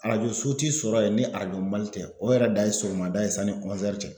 Arajoso te sɔrɔ yen ni arajo Mali tɛ, o yɛrɛ dan ye sɔgɔmada ye sanni cɛ